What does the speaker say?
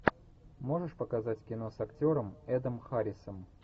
можешь показать кино с актером эдом харрисом